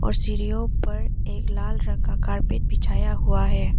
और सीढ़ीओ पर एक लाल रंग का कारपेट बिछाया हुआ है।